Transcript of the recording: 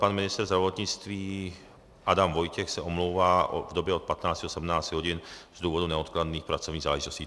Pan ministr zdravotnictví Adam Vojtěch se omlouvá v době od 15 do 17 hodin z důvodu neodkladných pracovních záležitostí.